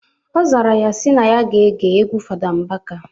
Ọ zara ya sị na ya ga-ege egwu Fada Mbaka.